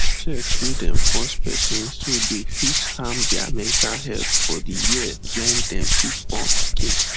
sex wey dey force person so dey fit harm their mental health for di year wen them fit born pikin